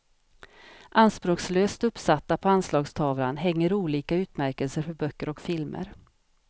Anspråkslöst uppsatta på anslagstavlan hänger olika utmärkelser för böcker och filmer.